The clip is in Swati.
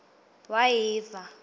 wayiva